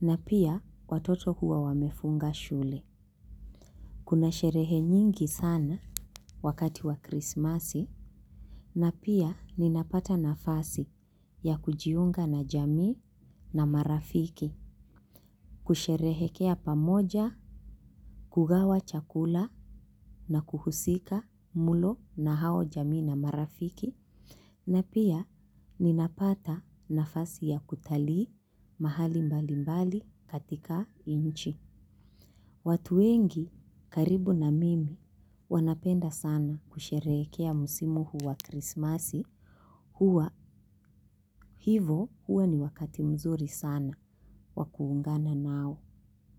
na pia watoto huwa wamefunga shule. Kuna sherehe nyingi sana wakati wa krisimasi. Na pia ninapata nafasi ya kujiunga na jamii na marafiki, kusherehekea pamoja, kugawa chakula na kuhusika mlo na hao jamii na marafiki. Na pia ninapata nafasi ya kutalii mahali mbali mbali katika nchi. Watu wengi karibu na mimi wanapenda sana kusherehekea msimu huu wa krisimasi huwa hivo huwa ni wakati mzuri sana wa kuungana nao.